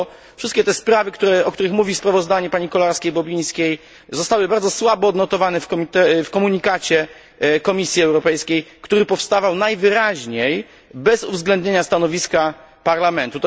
Wszystkie te sprawy, o których mówi sprawozdanie pani Kolarskiej Bobińskiej, zostały bardzo słabo odnotowane w komunikacie Komisji Europejskiej, który powstawał najwyraźniej bez uwzględnienia stanowiska Parlamentu.